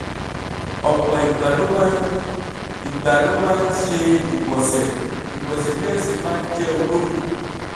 ọ̀pọ̀ ìgbà ló máa ìgbà ló máa ń ṣe ìgbọ̀nsẹ̀ ìgbọ̀nsẹ̀ náà sì máa ń jẹ́ olómi